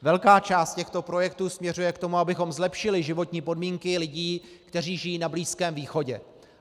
Velká část těchto projektů směřuje k tomu, abychom zlepšili životní podmínky lidí, kteří žijí na Blízkém východě.